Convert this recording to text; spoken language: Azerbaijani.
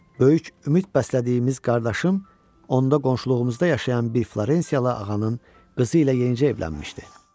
Böyük ümid bəslədiyimiz qardaşım onda qonşuluğumuzda yaşayan bir florenciyalı ağanın qızı ilə yenicə evlənmişdi.